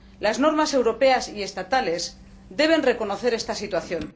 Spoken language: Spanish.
Las normas europeas y estatales deben reconocer esta situación.